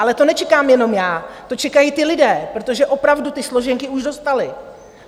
Ale to nečekám jenom já, to čekají ti lidé, protože opravdu ty složenky už dostali.